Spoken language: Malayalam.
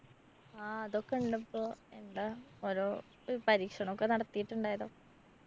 ആ അതൊക്കണ്ട് ഇപ്പോ. എന്താ ഓരോ പരീക്ഷണൊക്കെ നടത്തിട്ടുണ്ടല്ലോ?